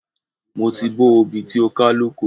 Mo ti bó obì tí ó ká lóko.